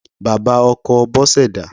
Bàbá ọkọ Bose dà?